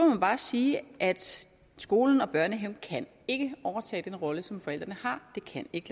man bare sige at skolen og børnehaven ikke kan overtage den rolle som forældrene har det kan ikke